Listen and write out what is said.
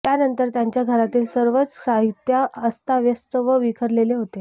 त्यानंतर त्यांच्या घरातील सर्वच साहित्य अस्ताव्यस्त व विखरलेले होते